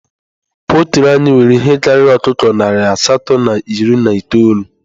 Poltri anyị nwere ihe karịrị ọkụkọ nari asatọ na iri na itoolu